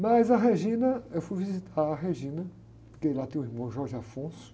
Mas a, eu fui visitar a, porque ela tem o irmão.